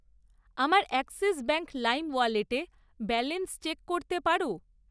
আমার Axis bank Lime ওয়ালেটে balance check করতে পারো?